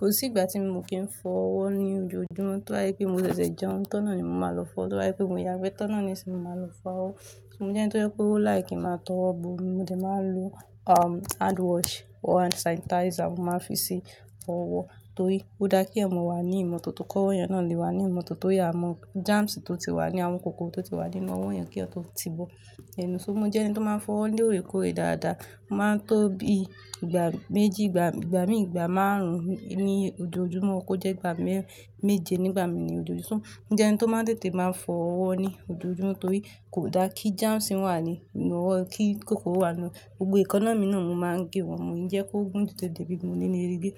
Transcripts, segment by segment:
Kò sí ìgbà tí mo kì ń fọ ọwọ́ ní ojoojúmọ́. Tí wá yí pé mo ṣẹ̀ṣẹ̀ jẹun, tọ́nà ni mo máa lọ fọ. Tí wá yí pé mo yàgbe, tọ́nà ni sì máa lọ fọ ọwọ́. Mo jẹ́ ẹni tó je pe o like kí ń máa tọwo bómi mo de máa n lo, um, hand wash or hand sanitizer, mo máa fi ṣi ọwọ́. Torí o daa kí eyan mo wà ní ìmọ́tótó ki owo eyan náà lè wà ní ìmọ́tótó tori amọ germs tó ti wà ní àwọn kòkò tó ti wà nínú ọwọ́ ènìyàn kí ó tó ti bọ́ ẹnu. So mo jẹ́ ẹni tó máa ń fọ ọwọ́ lóore kóòrè dáadáa. O máa ń tó bí ìgbà méjì, ìgbà, ìgba mi ìgbà márùn-ún ní ojoojúmọ́, kó jẹ́ ìgbà mẹ́ẹ́ méje nígbà mí ní ojoojúmọ́. Mo je ẹni tó máa ń tètè máa ń fọ ọwọ́ ní ojoojúmọ́ torí kò da kí germs wà ní ninu ọwọ́, kí kòkòrò wà ní, gbogbo eekana mi náà máa ń gé wọn mo mi o je kó gùn ju to di pe mi o ní leri ge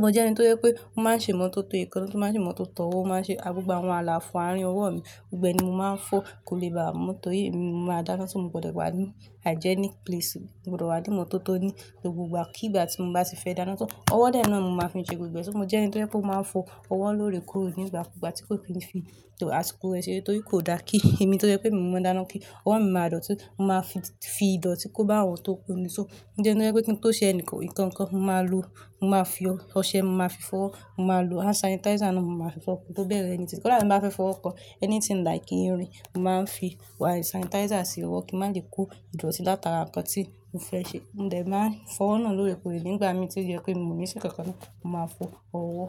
mo jẹ́ ẹni to jẹ pé ó máa ń ṣe ìmọ́tótó eekana ó máa ń ṣe ìmọ́tótó ọwọ́, ó máa ń ṣe gbogbo àwọn àlàfo àárín ọwọ́ mi. Gbogbo e ni mo máa ń fọ, kò lè ba mo torí èmi ni mo máa dáná si mo gbkdọ̀ wà ní hygienic place, mo gbodọ̀ wà ní ìmọ́tótó ní gbogbo ìgbà. Kí ìgbà tí mo bá ti fẹ́ dáná tó, ọwọ́ de náà ni mo máa fi n ṣe gbogbo è Mo jẹ́ ẹni tó jẹ pé ó máa ń fọ ọwọ́ lóore kóòrè nígbàkugba àti kó fi ń fi tọ àsìkò ẹ ṣere torí kò da kí èmi tó je pé emi ni mọ maa dáná kí ọwọ́ mi máa dọ̀tí, mo máa fi, fi ìdọ̀tí kó bá ọwọ́ tó kuni So, mo je ẹni tó je pé kí n tó ṣe ẹnìkan ìkankan, mo máa lo, mo máa fi ọṣẹ, mo máa fi fowo mo máa lo hand sanitizer náà, mo máa fi fowo ki n tó bẹ̀rẹ̀ anything Kọ́ dà ti n bá fẹ́ fọwo kan anything like irin, mo máa ń fi hand sanitizer ṣi ọwọ́ kí má je kó ìdọ̀tí látara nǹkan tí mo fẹ́ ṣe. Mo de n máa ń fọ ọwọ́ náà lóore kóòrè nígbà mí tí o jẹ pé mi ò ní ṣe nkankan náà, mo máa fọ ọwọ́.